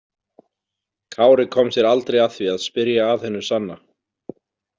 Kári kom sér aldrei að því að spyrja að hinu sanna.